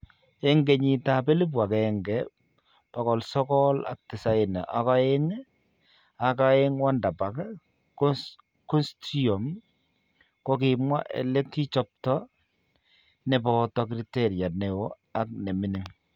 Eng 1992 ak oeng' Wardenburg constrium kokimwaa elekichengtoo nebooto criteria neoo ak neming'in